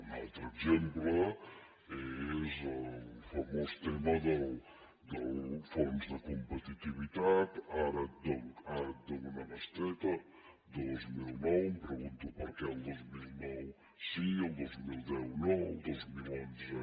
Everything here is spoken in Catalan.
un altre exemple és el famós tema del fons de competitivitat ara et dono una bestreta dos mil nou em pregunto per què el dos mil nou sí i el dos mil deu no perdó